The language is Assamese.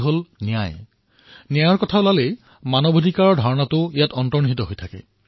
যেতিয়াই ন্যায়ৰ বিষয়ে আলোচনা হয় তেতিয়াই মানৱ অধিকাৰৰ ভাৱ তাত সম্পূৰ্ণৰূপে সমাহিত হয়